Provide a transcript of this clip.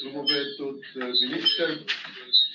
Lugupeetud minister!